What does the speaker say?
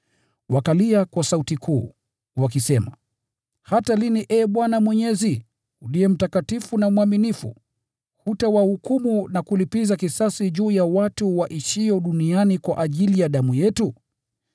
Wakalia kwa sauti kuu, wakisema, “Hata lini, Ee Bwana Mwenyezi, uliye mtakatifu na mwaminifu, hutawahukumu na kulipiza kisasi juu ya watu waishio duniani kwa ajili ya damu yetu?”